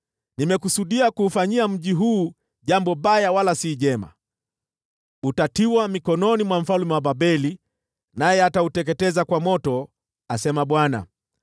Nimekusudia kuufanyia mji huu jambo baya, wala si jema. Utatiwa mikononi mwa mfalme wa Babeli, naye atauteketeza kwa moto, asema Bwana .’